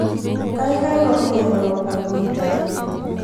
kaikai komero aguitannyu